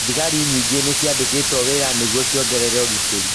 Thigari nyingĩ nĩ ciandikĩtwo wĩra nĩguo ciongerere ũgitĩrĩ